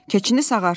Keçini sağarsan.